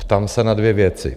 Ptám se na dvě věci.